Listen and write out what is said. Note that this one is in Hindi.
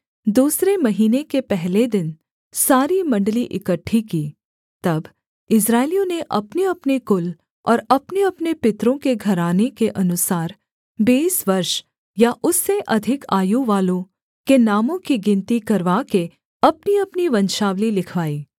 दूसरे महीने के पहले दिन सारी मण्डली इकट्ठी की तब इस्राएलियों ने अपनेअपने कुल और अपनेअपने पितरों के घराने के अनुसार बीस वर्ष या उससे अधिक आयु वालों के नामों की गिनती करवाकर अपनीअपनी वंशावली लिखवाई